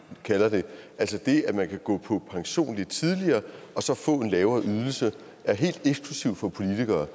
kalder det altså det at man kan gå på pension lidt tidligere og så få en lavere ydelse er helt eksklusiv for politikere